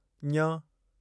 ञ